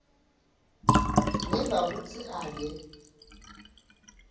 ngiva kutsi ake